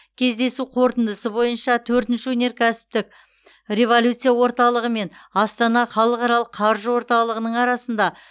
кездесу қорытындысы бойынша төртінші өнеркәсіптік революция орталығы мен астана халықаралық қаржы орталығының арасында